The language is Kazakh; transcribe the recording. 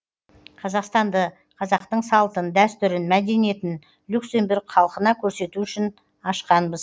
қазақстанды қазақтың салтын дәстүрін мәдениетін люксембург халқына көрсету үшін ашқанбыз